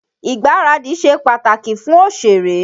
Ìgbaradì ṣe pàtàkì fún òṣèré.